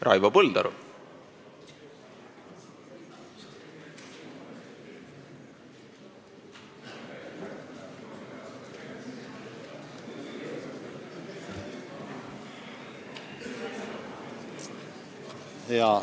Raivo Põldaru, palun!